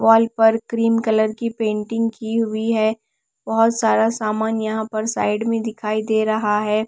Wall पर cream colour की painting की हुई है बहुत सारा सामान यहाँ पर साइड में दिखाई दे रहा है।